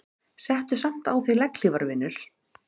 Settu samt á þig legghlífar vinur.